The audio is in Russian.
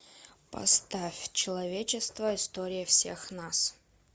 поставь человечество история всех нас